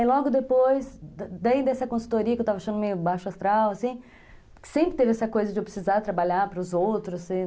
Aí logo depois, daí dessa consultoria que eu estava achando meio baixo astral, assim, sempre teve essa coisa de eu precisar trabalhar para os outros, ser...